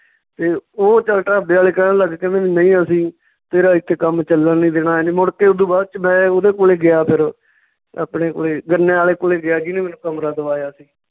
ਤੇ ਓਹ ਚੱਲ ਢਾਬੇ ਵਾਲੇ ਕਹਿਣ ਲੱਗ ਗਏ ਕਹਿੰਦੇ ਨਈਂ ਅਸੀਂ ਤੇਰਾ ਏਥੇ ਕੰਮ ਚੱਲਣ ਨੀ ਦੇਣਾ ਮੁੜ ਕੇ ਓਦੂ ਬਾਅਦ ਚ ਮੈਂ ਉਹਦੇ ਕੋਲੇ ਗਿਆ ਫਿਰ ਆਪਣੇ ਕੋਲੇ ਗੰਨੇ ਆਲੇ ਕੋਲੇ ਗਿਆ ਜਿਹਨੇ ਮੈਨੂੰ ਕਮਰਾ ਦਵਾਇਆ ਸੀ